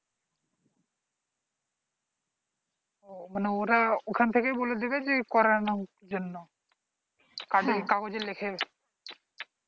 ওহ মানে ওরা ওখান থেকেই বলে দিবে যে করানোর জন্য কাজে কাগজ লেখে